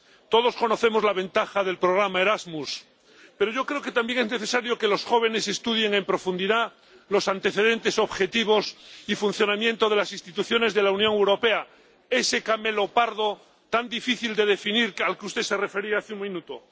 Todos conocemos la ventaja del programa Erasmus, pero yo creo que también es necesario que los jóvenes estudien en profundidad los antecedentes, objetivos y funcionamiento de las instituciones de la Unión Europea, ese camelopardo tan difícil de definir al que usted se refería hace un minuto.